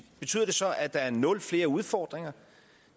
betyder det så at der er nul flere udfordringer